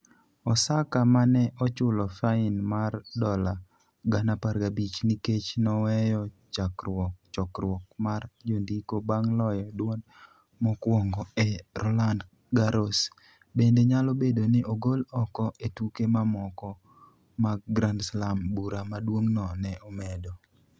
Osaka, ma ne ochulo fain mar dola 15,000 nikech noweyo chokruok mar jondiko bang' loyo duond mokwongo e Roland Garros, bende nyalo bedo ni ogol oko e tuke mamoko mag Grand Slam, bura maduong'no ne omedo.